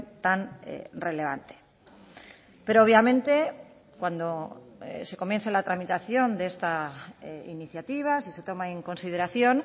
tan relevante pero obviamente cuando se comience la tramitación de esta iniciativa si se toma en consideración